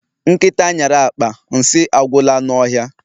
Nkịta nyara akpa, nsị agwụla n'ọhịa